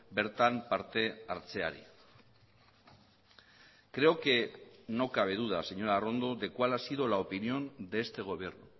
bertan partehartzeari creo que no cabe duda señora arrondo de cuál ha sido la opinión de este gobierno